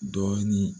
Dɔɔnin